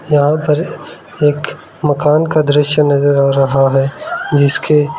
यहां पर एक मकान का दृश्य नजर आ रहा है जिसके--